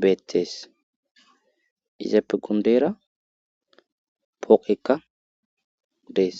beetees izape gundeera pooqekka dees